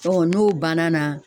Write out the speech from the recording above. Ɔ n'o bann'a na